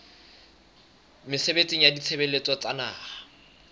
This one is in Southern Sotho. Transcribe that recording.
mesebetsing ya ditshebeletso tsa naha